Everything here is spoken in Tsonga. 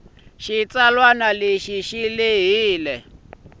xitsalwana xi na vulehi lebyi